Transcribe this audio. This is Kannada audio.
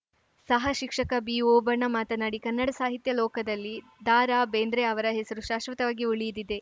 ಸಹ ಶಿಕ್ಷಕ ಬಿಓಬಣ್ಣ ಮಾತನಾಡಿ ಕನ್ನಡ ಸಾಹಿತ್ಯ ಲೋಕದಲ್ಲಿ ದರಾಬೇಂದ್ರೆ ಅವರ ಹೆಸರು ಶಾಶ್ವತವಾಗಿ ಉಳಿದಿದೆ